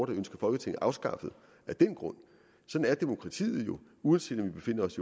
der ønsker folketinget afskaffet af den grund sådan er demokratiet uanset om vi befinder os